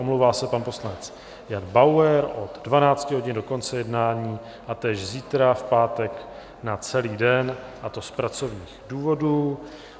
Omlouvá se pan poslanec Jan Bauer od 12 hodin do konce jednání a též zítra v pátek na celý den, a to z pracovních důvodů.